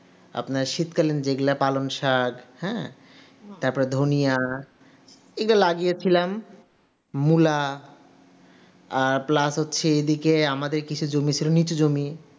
আপনার শীতকালে যেগুলা পালং শাক হ্যাঁ তারপর ধনিয়া এটা লাগিয়েছিলাম মুলা আর Plus হচ্ছে এদিকে আমাদের কিসে নিচু জমি